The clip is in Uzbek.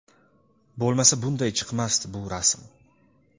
bo‘lmasa bunday chiqmasdi bu rasm'.